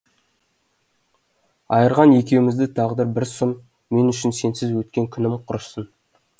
айырған екеумізді тағдыр бір сұм мен үшін сенсіз өткен күнім құрсын